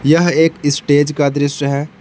यह एक स्टेज का दृश्य है।